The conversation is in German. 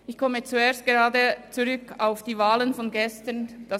Ich komme zuerst auf die Wahlen von gestern zurück.